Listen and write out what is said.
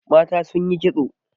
Mata sun yi kitso.